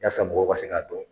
Yaasa mɔgɔw ka k'a dɔn.